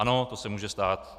Ano, to se může stát.